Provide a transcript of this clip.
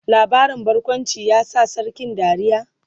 labarin barkawncin ya sa sarkin dariya?